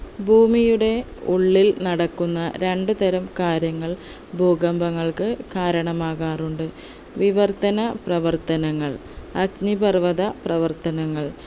ഭൂമിയുടെ ഉള്ളിൽ നടക്കുന്ന രണ്ടുതരം കാര്യങ്ങൾ ഭൂകമ്പങ്ങൾക്ക് കാരണമാകാറുണ്ട് വിവർത്തനപ്രവർത്തനങ്ങൾ അഗ്നിപർവ്വത പ്രവർത്തനങ്ങൾ